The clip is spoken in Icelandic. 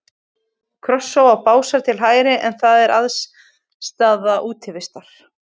Krossá og Básar til hægri, en þar er aðstaða Útivistar.